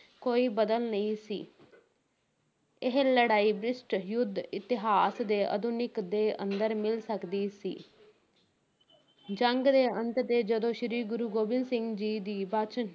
ਕੋਈ ਬਦਲ ਨਹੀਂ ਸੀ ਇਹ ਲੜਾਈ ਬ੍ਰਿਟਿਸ਼ ਯੁੱਧ ਇਤਿਹਾਸ ਦੇ ਆਧੁਨਿਕ ਦੇ ਅੰਦਰ ਮਿਲ ਸਕਦੀ ਸੀ ਜੰਗ ਦੇ ਅੰਤ ਤੇ, ਜਦੋਂ ਸ਼੍ਰੀ ਗੁਰੂ ਗੋਬਿੰਦ ਸਿੰਘ ਜੀ ਦੀ ਬਚ